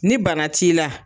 Ni bana t'i la.